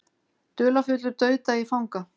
Dularfullur dauðdagi fanga